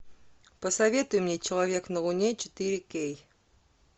посоветуй мне человек на луне четыре кей